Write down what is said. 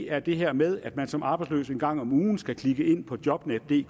er det her med at man som arbejdsløs en gang om ugen skal klikke ind på jobnetdk det er